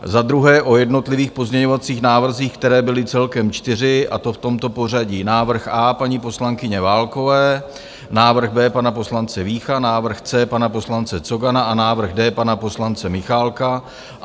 Za druhé o jednotlivých pozměňovacích návrzích, které byly celkem čtyři, a to v tomto pořadí - návrh A paní poslankyně Válkové, návrh B pana poslance Vícha, návrh C pana poslance Cogana a návrh D pana poslance Michálka.